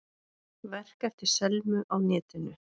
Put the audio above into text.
Verk eftir Selmu á netinu